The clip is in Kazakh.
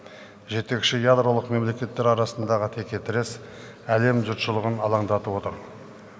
жетекші ядролық мемлекеттер арасындағы текетірес әлем жұртшылығын алаңдатып отыр